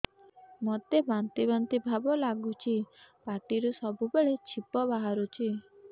ମୋତେ ବାନ୍ତି ବାନ୍ତି ଭାବ ଲାଗୁଚି ପାଟିରୁ ସବୁ ବେଳେ ଛିପ ବାହାରୁଛି